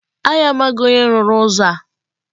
Anyị amaghị onye rụrụ ụzọ a.